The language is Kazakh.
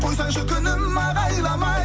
қойсаңшы күнім ағайламай